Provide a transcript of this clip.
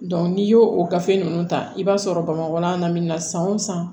n'i y'o o gafe ninnu ta i b'a sɔrɔ bamakɔ yan na min na san o san